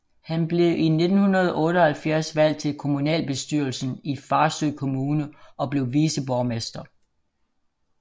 Han blev i 1978 valgt til kommunalbestyrelsen i Farsø Kommune og blev viceborgmester